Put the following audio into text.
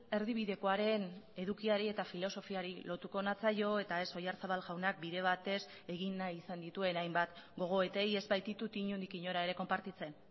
erdibidekoaren edukiari eta filosofiari lotuko natzaio eta ez oyarzabal jaunak bide batez egin nahi izan dituen hainbat gogoetei ez baititut inondik inora ere konpartitzen